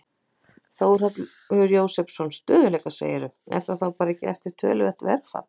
Þórhallur Jósefsson: Stöðugleika segirðu, er það þá ekki bara eftir töluvert verðfall?